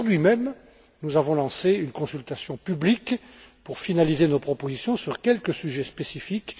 aujourd'hui même, nous avons lancé une consultation publique pour finaliser nos propositions sur quelques sujets spécifiques.